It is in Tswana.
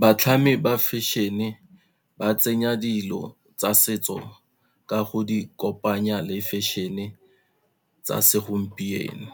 Batlhami ba fashion-e, ba tsenya dilo tsa setso ka go di kopanya le fashion-e tsa segompieno,